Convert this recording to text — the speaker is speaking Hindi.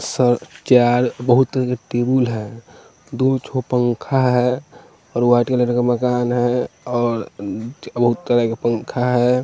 और चार बहुत टेबुल है दु थो पंखा है और वाइट कलर का मकान है और बहुत तरह का पंखा है।